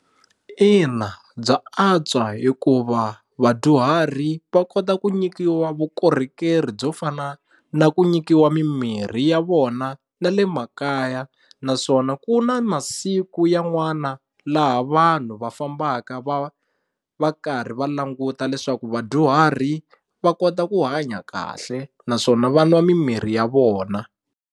Ina bya antswa hikuva vadyuhari va kota ku nyikiwa vukorhokeri byo fana na ku nyikiwa mimirhi ya vona na le makaya naswona ku na masiku yan'wana laha vanhu va fambaka va va karhi va languta leswaku vadyuhari va kota ku hanya kahle naswona vanwa mimirhi ya vona.